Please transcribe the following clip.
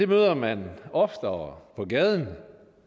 møder man oftere på gaden